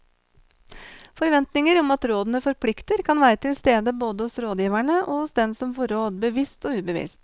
Forventninger om at rådene forplikter kan være til stede både hos rådgiverne og hos den som får råd, bevisst og ubevisst.